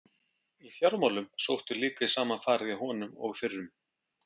Í fjármálum sótti líka í sama farið hjá honum og fyrrum.